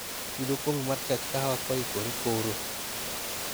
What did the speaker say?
yud okombe mar chach kahawa koikore koro